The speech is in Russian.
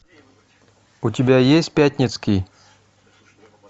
у тебя есть пятницкий